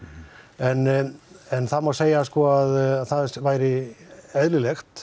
en það má segja að það væri eðlilegt